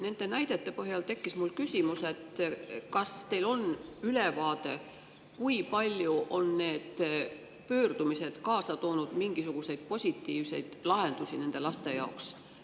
Nende näidete põhjal tekkis mul küsimus, kas teil on ülevaade, kui palju on need pöördumised kaasa toonud mingisuguseid positiivseid lahendusi nende laste jaoks.